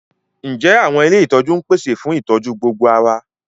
Ǹjẹ́ àwọn ilé ìtọ́jú ń pèsè fún ìtọ́jú gbogbo ara?